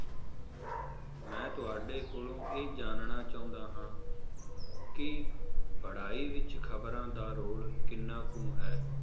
ਮੈ ਤੁਹਾਡੇ ਕੋਲੋਂ ਇਹ ਜਾਨਣਾ ਚਾਹੁੰਦਾ ਹਾਂ, ਕਿ ਪੜ੍ਹਾਈ ਵਿਚ ਖਬਰਾਂ ਦਾ ਰੋਲ ਕਿੰਨਾ ਕੁ ਹੈ?